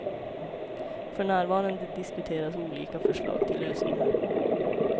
För närvarande diskuteras olika förslag till lösningar.